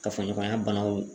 Kafoɲɔgɔnya banaw